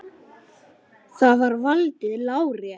Þar er valdið lárétt.